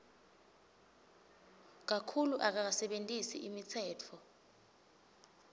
kakhulu akakasebentisi imitsetfo